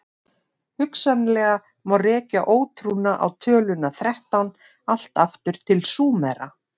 Hugsanlega má rekja ótrúna á töluna þrettán allt aftur til Súmera.